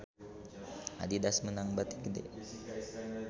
Adidas meunang bati gede